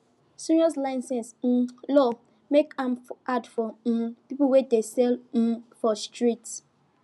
serious license um law make make am hard for um people wey dey sell um for street